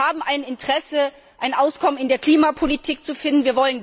Wir haben ein Interesse, ein Auskommen in der Klimapolitik zu finden.